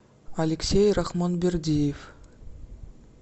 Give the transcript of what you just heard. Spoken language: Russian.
алексей рахманбердиев